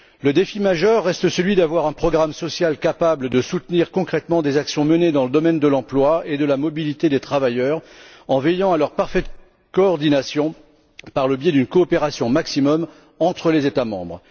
Le défi majeur est celui d'avoir un programme social capable de soutenir concrètement des actions menées dans le domaine de l'emploi et de la mobilité des travailleurs, en veillant à leur parfaite coordination par le biais d'une coopération maximale entre les États membres.